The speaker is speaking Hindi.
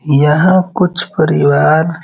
यहाँ कुछ परिवार --